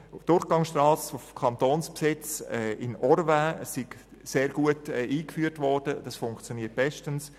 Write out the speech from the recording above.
Auf der kantonalen Durchgangsstrasse in Orvin sei Tempo 30 sehr gut eingeführt worden und funktioniere bestens.